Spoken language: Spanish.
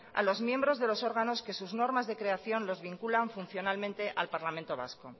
a los miembros de los órganos que sus normas de creación los vinculan funcionalmente al parlamento vasco